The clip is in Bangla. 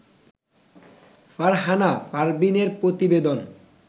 ফারহানা পারভীনের প্রতিবেদন